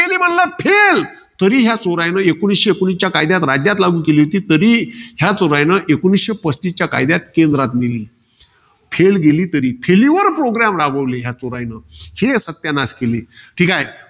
तरी या चोरानं, एकोणीसशे एकोणीसच्या कायद्यात लागू केली होती. तरी, या चोरानं एकोणीसशे पस्तीसच्या कायद्यात केंद्रात नेली. Fail गेली, तरी. Faliur program राबवले या चोरानं. हे सत्यानाश केली. ठीकाय.